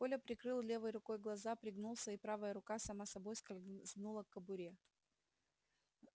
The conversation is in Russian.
коля прикрыл левой рукой глаза пригнулся и правая рука сама собой скользнула к кобуре